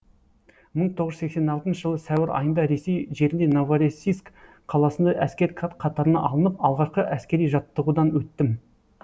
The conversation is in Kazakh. мың тоғыз жүз сексен алтыншы жылы сәуір айында ресей жерінде новороссийск қаласында әскер қатарына алынып алғашқы әскери жаттығудан өттім